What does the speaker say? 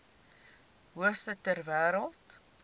hoogste ter wêreld